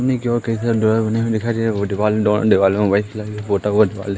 दिवाल में white colour का पोता हुआ दिवाल --